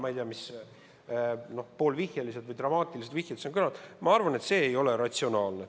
Ma ei tea, mis poolvihjed või dramaatilised vihjed siin kõik kõlanud on – ma arvan, et see ei ole ratsionaalne.